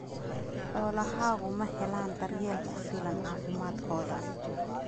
Xoolahaagu ma helaan daryeel ku filan caafimaadkooda?